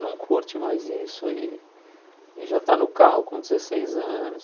Não curte mais isso e e já tá no carro com dezesseis anos.